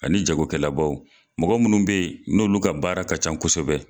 Ani jagokɛlabagaw mɔgɔ minnu be yen n'olu ka baara ka ca kosɛbɛ